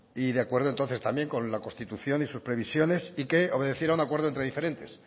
y de acuerdo entonces también con la constitución y sus previsiones y que obedeciera a un acuerdo entre diferentes